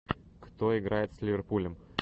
кто играет с ливерпулем